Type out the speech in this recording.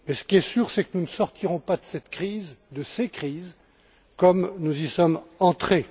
Ce qui est sûr, c'est que nous ne sortirons pas de ces crises comme nous y sommes entrés.